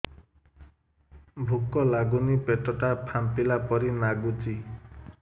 ଭୁକ ଲାଗୁନି ପେଟ ଟା ଫାମ୍ପିଲା ପରି ନାଗୁଚି